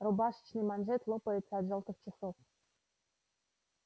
рубашечный манжет лопается от жёлтых часов